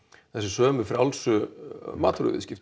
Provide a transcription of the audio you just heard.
þessu sömu frjálsu